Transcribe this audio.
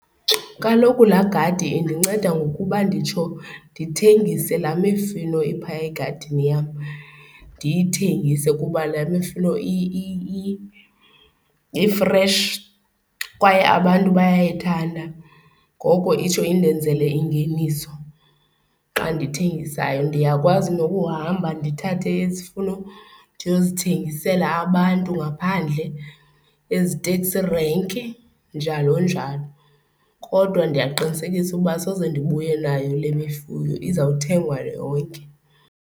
Kaloku laa gadi indinceda ngokuba nditsho ndithengise laa mifino iphaya egadini yam, ndiyithengise kuba laa mifino i-fresh kwaye abantu bayayithanda ngoko itsho indenzele ingeniso xa ndithengisayo. Ndiyakwazi nokuhamba ndithathe izifuno ndiyozithengisela abantu ngaphandle eziteksi renki njalo njalo, kodwa ndiyaqinisekisa uba soze ndibuye nayo le mifuno izawuthengwa yonke.